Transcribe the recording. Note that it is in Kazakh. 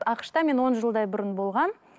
ақш та мен он жылдай бұрын болғанмын